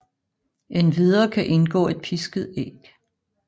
Endvidere kan indgå et pisket æg